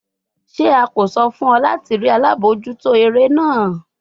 Ṣe a ko sọ fun ọ lati rii alabojuto ere naa?